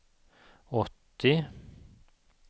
åttio